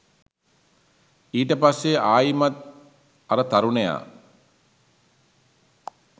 ඊට පස්සෙ ආයිමත් අර තරුණයා